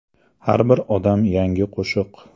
Har bir odam yangi qo‘shiq”.